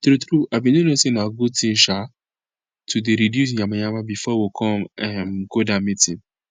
tru tru i bin no know say na good thing um to dey reduce yamayama before we con um go that meeting